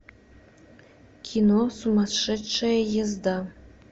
кино сумасшедшая езда